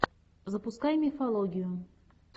запускай мифологию